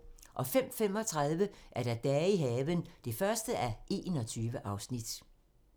05:35: Dage i haven (1:21)